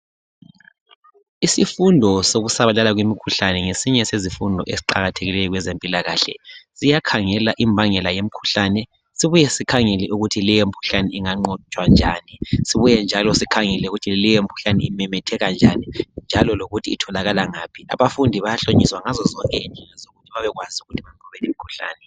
Isifundo sokusabalala kwemikhuhlane ngesinye sezifundo esiqakathekiyo kwezempilakahle siyakhangela Imbangela yemkhuhlane sibuye sikhangele ukuthi leyo mkhuhlane unganqotshwa kanjani sibuye njalo sikhangele ukuthi leyo mkhuhlane imemetheke njani njalo lokuthi itholakala ngaphi abafundi bayahlonyiswa ngazo zonke indlela zokuthi bebekwazi ukunqoba imkhuhlane